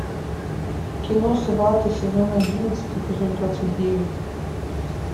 кино сваты сезон одиннадцать эпизод двадцать девять